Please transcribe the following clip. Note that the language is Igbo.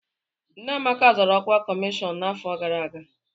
Nne Amaka zọrọ ọkwa kọmishọna n'afọ gara aga.